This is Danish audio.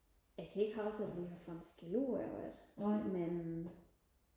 det er ikke sådan vi har fået skæld ud over det men